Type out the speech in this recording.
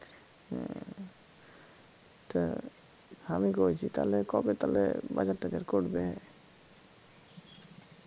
তা আমি কইছি তালে কবে তালে বাজার টাজার করবে